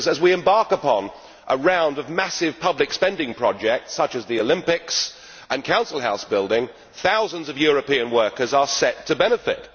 As we embark upon a round of massive public spending projects, such as the Olympics and council house building, thousands of European workers are set to benefit.